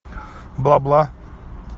бла бла